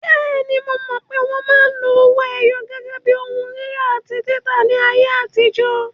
Bẹ́ẹ̀ni, mo mọ̀ pé wọn máa ń lo owó ẹyọ gẹ́gẹ́ bí ohun rírà àti títà ní ayé àtijọ́.